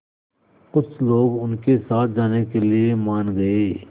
कुछ लोग उनके साथ जाने के लिए मान गए